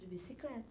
De bicicleta.